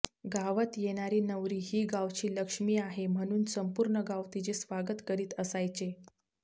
गावात येणारी नवरी ही गावची लक्ष्मी आहे म्हणून संपूर्ण गाव तिचे स्वागत करीत असायचे